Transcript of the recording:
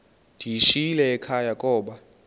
ndiyishiyile ekhaya koba